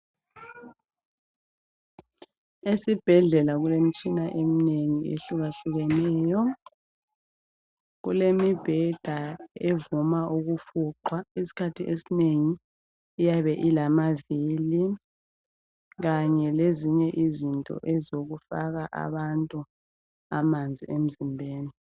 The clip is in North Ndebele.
Esibhedlela kulemitshana eminengi ehlukahlukeneyo, kulemibheda evuma ukufuqwa . isikhathi esinengi iyabe ilama vili .Kanye lezinye izinto ezokufaka abantu amanzi emzimbeni.